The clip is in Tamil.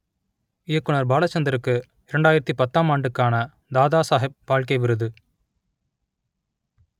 இயக்குனர் பாலச்சந்தருக்கு இரண்டாயிரத்து பத்தாம் ஆண்டுக்கான தாதாசாகெப் பால்கே விருது